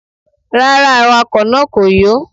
Rárá, awakọ̀ náà kò yó.